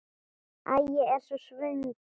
Æ, ég er svo svöng.